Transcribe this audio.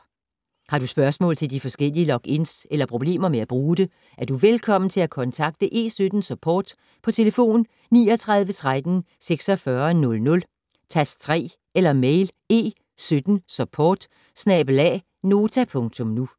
Har du spørgsmål til de forskellige logins eller problemer med at bruge det, er du velkommen til at kontakte E17 Support på telefon 39 13 46 00, tast 3 eller mail: e17support@nota.nu